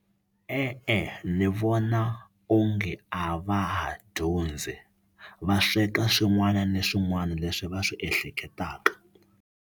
E-e, ni vona onge a va ha dyondzi va sweka swin'wana na swin'wana leswi va swi ehleketaka.